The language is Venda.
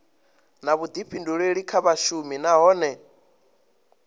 na vhuḓifhinduleli kha vhashumi nahone